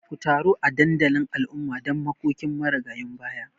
Ku taru a dandalin al'umma don makokin marigayun baya